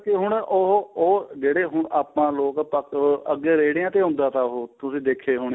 ਹੁਣ ਉਹ ਉਹ ਜਿਹੜੇ ਹੁਣ ਆਪਾਂ ਲੋਕ ਆਹ ਅੱਗੇ ਰੇਹੜੀਆਂ ਤੇ ਹੁੰਦਾ ਤਾਂ ਉਹ ਤੁਸੀਂ ਦੇਖਦੇ